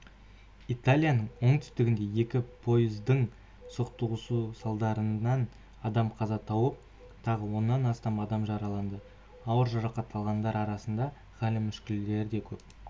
италияның оңтүстігінде екі пойыздың соқтығысуы салдарынан адам қаза тауып тағы оннан астам адам жараланды ауыр жарақат алғандар арасында халі мүшкілдері көп